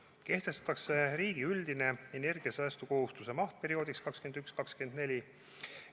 Kehtestatakse riigi üldine energiasäästukohustuse maht perioodiks 2021–2024.